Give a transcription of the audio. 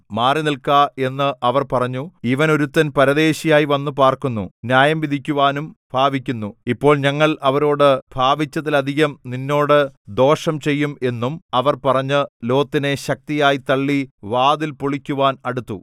മാറിനിൽക്ക എന്ന് അവർ പറഞ്ഞു ഇവനൊരുത്തൻ പരദേശിയായി വന്നു പാർക്കുന്നു ന്യായംവിധിക്കുവാനും ഭാവിക്കുന്നു ഇപ്പോൾ ഞങ്ങൾ അവരോട് ഭാവിച്ചതിലധികം നിന്നോട് ദോഷം ചെയ്യും എന്നും അവർ പറഞ്ഞ് ലോത്തിനെ ശക്തിയായി തള്ളി വാതിൽ പൊളിക്കുവാൻ അടുത്തു